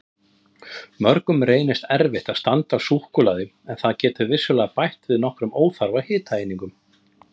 Mörgum reynist erfitt að standast súkkulaði en það getur vissulega bætt við nokkrum óþarfa hitaeiningum.